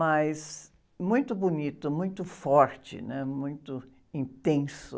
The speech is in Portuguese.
Mas muito bonito, muito forte, né? Muito intenso,